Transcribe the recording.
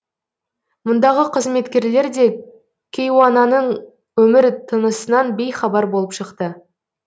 мұндағы қызметкерлер де кейуананың өмір тынысынан бейхабар болып шықты